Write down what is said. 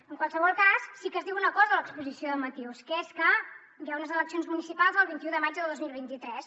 en qualsevol cas sí que es diu una cosa a l’exposició de motius que és que hi ha unes eleccions municipals el vint un de maig de dos mil vint tres